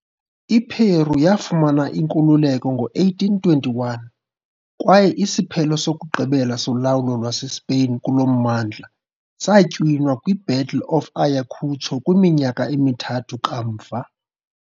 I-Peru yafumana inkululeko ngo-1821, kwaye isiphelo sokugqibela solawulo lwaseSpain kulo mmandla satywinwa kwi- Battle of Ayacucho kwiminyaka emithathu kamva.